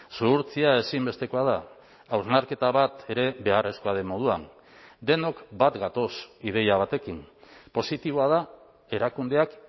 zuhurtzia ezinbestekoa da hausnarketa bat ere beharrezkoa den moduan denok bat gatoz ideia batekin positiboa da erakundeak